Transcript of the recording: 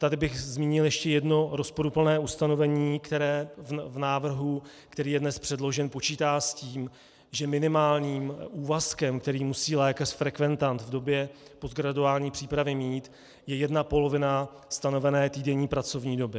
Tady bych zmínil ještě jedno rozporuplné ustanovení, které v návrhu, který je dnes předložen, počítá s tím, že minimálním úvazkem, který musí lékař-frekventant v době postgraduální přípravy mít, je jedna polovina stanovené týdenní pracovní doby.